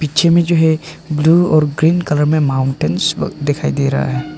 पिछे में जो है ब्लू और ग्रीन कलर में माउंटेंस दिखाई दे रहा है